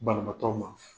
Banabaatɔ ma